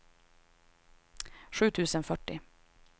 sju tusen fyrtio